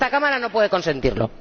Esta Cámara no puede consentirlo.